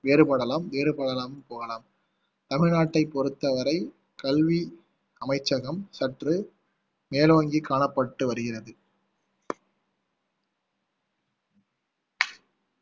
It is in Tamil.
வேறுபடலாம் வேறுபடாமலும் போகலாம் தமிழ்நாட்டைப் பொறுத்தவரை கல்வி அமைச்சகம் சற்று மேலோங்கி காணப்பட்டு வருகிறது